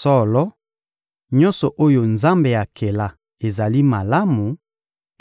Solo, nyonso oyo Nzambe akela ezali malamu,